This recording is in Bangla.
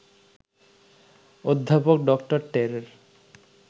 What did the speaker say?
অধ্যাপক ডক্টর টেরের